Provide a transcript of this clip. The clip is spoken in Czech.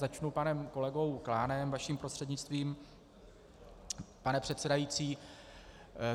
Začnu panem kolegou Klánem, vaším prostřednictvím, pane předsedající.